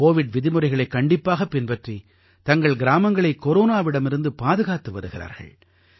Covid விதிமுறைகளைக் கண்டிப்பாகப் பின்பற்றி தங்கள் கிராமங்களை கொரோனாவிடமிருந்து பாதுகாத்து வருகிறார்கள்